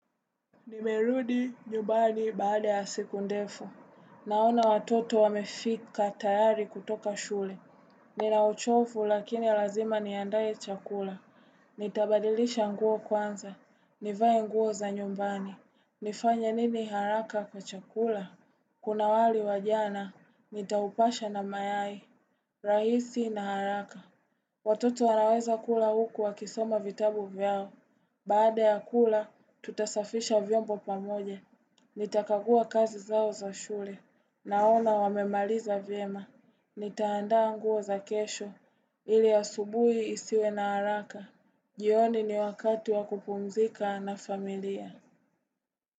Nimerudi nyumbani baada ya siku ndefu. Naona watoto wamefika tayari kutoka shule. Ninauchofu lakini lazima niandae chakula. Nitabadilisha nguo kwanza. Nivae nguo za nyumbani. Nifanya nini haraka kwa chakula? Kuna wali wajana, nitaupasha na mayai. Rahisi na haraka. Watoto wanaweza kula huku wa kisoma vitabu vyao. Baada ya kula, tutasafisha vyombo pamoja, nitakagua kazi zao za shule, naona wamemaliza vyema, nitaandaa nguo za kesho, ili asubuhi isiwe na haraka, jioni ni wakati wa kupumzika na familia.